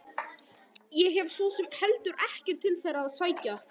Ég hef svo sem heldur ekkert til þeirra að sækja.